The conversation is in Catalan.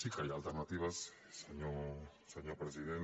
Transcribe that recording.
sí que hi ha alternatives senyor president